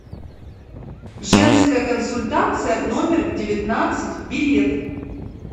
женская консультация номер девятнадцать билет